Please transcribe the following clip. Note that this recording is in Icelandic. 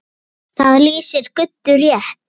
Það lýsir Guddu rétt.